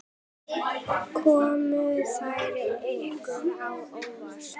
Komu þær ykkur á óvart?